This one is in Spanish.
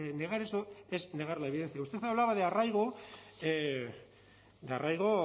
negar eso es negar la evidencia usted hablaba de arraigo de arraigo